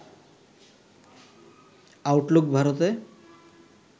Outlook ভারতে